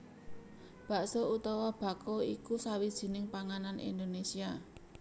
Bakso utawa baxo iku sawijining panganan Indonésia